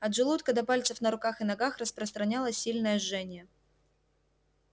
от желудка до пальцев на руках и ногах распространялось сильное жжение